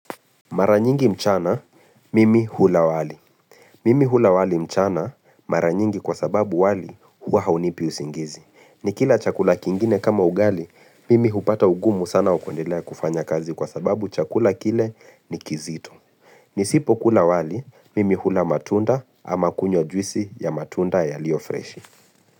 Mara nyingi mchana, mimi hula wali. Mimi hula wali mchana, mara nyingi kwa sababu wali hua haunipi usingizi. Ni kila chakula kingine kama ugali, mimi hupata ugumu sana wa kundelea kufanya kazi kwa sababu chakula kile ni kizito Nisipo kula wali, mimi hula matunda ama kunywa juisi ya matunda yaliyo freshi.